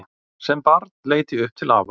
Sem barn leit ég upp til afa.